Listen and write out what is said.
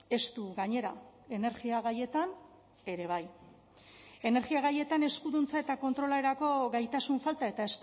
estu gainera energia gaietan ere bai energia gaietan eskuduntza eta kontrolerako gaitasun falta eta